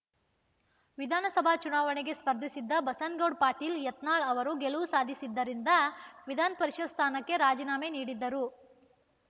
ವಿಧಾನ ಸಭಾ ಚುನಾವಣೆಗೆ ಸ್ಪರ್ಧಿಸಿದ್ದ ಬಸನ್ನ ಗೌಡ ಪಾಟೀಲ ಯತ್ನಾಳ ಅವರು ಗೆಲುವು ಸಾಧಿಸಿದ್ದರಿಂದ ವಿಧಾನಪರಿಷತ್‌ ಸ್ಥಾನಕ್ಕೆ ರಾಜೀನಾಮೆ ನೀಡಿದ್ದರು